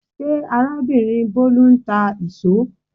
Ṣé arábìnrin Bolu ń tà íṣo?